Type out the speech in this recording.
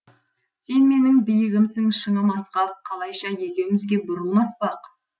сен менің биігімсің шыңым асқақ қалайша екеумізге бұрылмас бақ